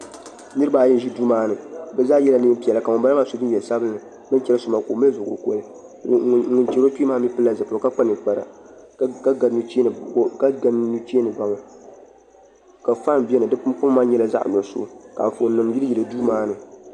Niraba ayi n ʒi duu maa ni bi zaa yɛla neen piɛla ka ŋunbala maa so jinjɛm sabinli bin chɛri so maa ka o mali zuɣu kolikoli ŋun chɛri o kpee maa mii pilila zipiligu ka kpa ninkpara ka ga nuchee ni baŋa ka faan biɛni di kama maa nyɛla zaɣ nuɣso ka Anfooni nim yiliyili duu maa ni